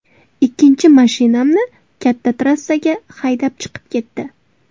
Ikkinchi mashinamni katta trassaga haydab chiqib ketdi.